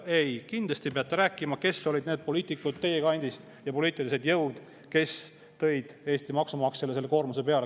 Ei, kindlasti peab rääkima ka KOV‑i valimiste vaates, kes olid teie kandist need poliitikud ja poliitilised jõud, kes tõid Eesti maksumaksjale selle koormuse peale.